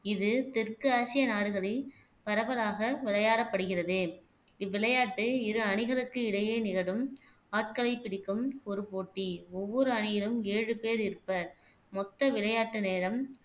இது தெற்கு ஆசிய நாடுகளில் பரவலாக விளையாடப்படுகிறது இவ்விளையாட்டு இரு அணிகளுக்கு இடையே நிகழும் ஆட்களை பிடிக்கும் ஒரு போட்டி ஒவ்வொரு அணியிலும் ஏழு பேர் இருப்பர் மொத்த விளையாட்டு நேரம்